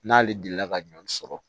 N'ale delila ka ɲɔ sɔrɔ